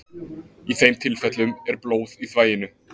Í þeim tilfellum er blóð í þvaginu.